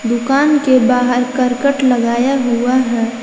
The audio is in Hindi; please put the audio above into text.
दुकान के बाहर करकट लगाया हुआ है।